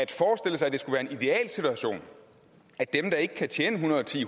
det skulle en idealsituation at de der ikke kan tjene en hundrede og ti